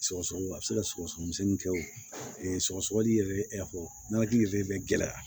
Sɔgɔsɔgɔni a bɛ se ka sɔgɔsɔgɔni kɛ wo sɔgɔsɔgɔ yɛrɛ yɛrɛ bɛ gɛlɛya